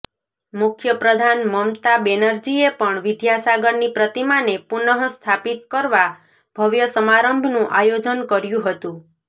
મુખ્યપ્રધાન મમતા બેનરજીએ પણ વિદ્યાસાગરની પ્રતિમાને પુનઃ સ્થાપિત કરવા ભવ્ય સમારંભનું આયોજન કર્યું હતું